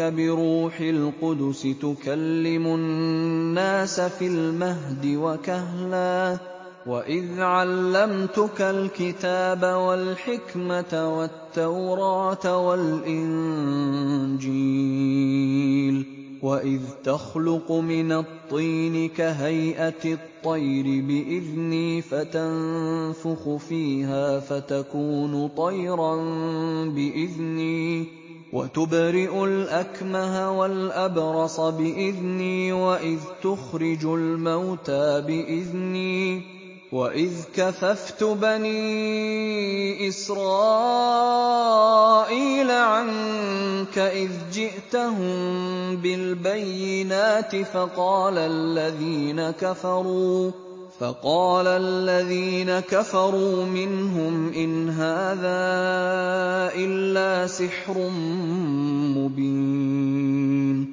بِرُوحِ الْقُدُسِ تُكَلِّمُ النَّاسَ فِي الْمَهْدِ وَكَهْلًا ۖ وَإِذْ عَلَّمْتُكَ الْكِتَابَ وَالْحِكْمَةَ وَالتَّوْرَاةَ وَالْإِنجِيلَ ۖ وَإِذْ تَخْلُقُ مِنَ الطِّينِ كَهَيْئَةِ الطَّيْرِ بِإِذْنِي فَتَنفُخُ فِيهَا فَتَكُونُ طَيْرًا بِإِذْنِي ۖ وَتُبْرِئُ الْأَكْمَهَ وَالْأَبْرَصَ بِإِذْنِي ۖ وَإِذْ تُخْرِجُ الْمَوْتَىٰ بِإِذْنِي ۖ وَإِذْ كَفَفْتُ بَنِي إِسْرَائِيلَ عَنكَ إِذْ جِئْتَهُم بِالْبَيِّنَاتِ فَقَالَ الَّذِينَ كَفَرُوا مِنْهُمْ إِنْ هَٰذَا إِلَّا سِحْرٌ مُّبِينٌ